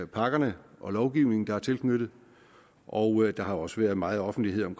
pakkerne og lovgivningen der er tilknyttet og der har også været meget offentlighed om